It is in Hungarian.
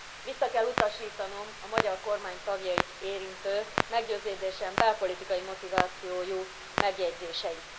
Vissza kell utasítanom a magyar kormány tagjait érintő, meggyőződésem szerint belpolitikai motivációjú megjegyzéseit.